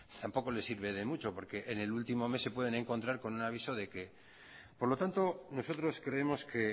tampoco le sirve de mucho porque en el último mes se pueden encontrar con un aviso de que por lo tanto nosotros creemos que